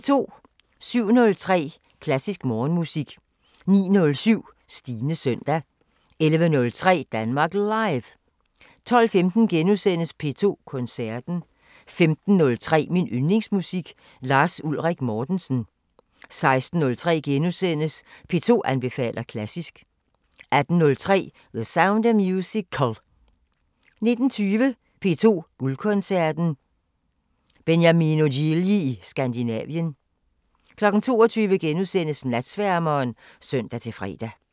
07:03: Klassisk Morgenmusik 09:07: Stines søndag 11:03: Danmark Live 12:15: P2 Koncerten * 15:03: Min Yndlingsmusik: Lars Ulrik Mortensen 16:03: P2 anbefaler klassisk * 18:03: The Sound of Musical 19:20: P2 Guldkoncerten: Beniamino Gigli i Skandinavien 22:00: Natsværmeren *(søn-fre)